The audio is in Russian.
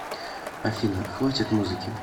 афина хватит музыки